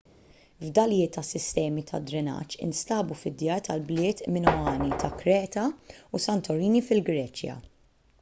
fdalijiet ta' sistemi tad-drenaġġ instabu fid-djar tal-bliet minoani ta' kreta u santorini fil-greċja